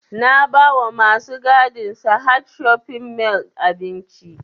Na ba wa masu gadin sahad shopping mall abinci